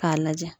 K'a lajɛ